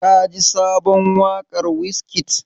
Ka ji sabon waƙar Wizkid?